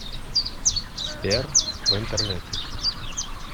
сбер в интернете